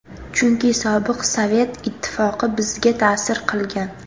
Chunki sobiq Sovet ittifoqi bizga ta’sir qilgan.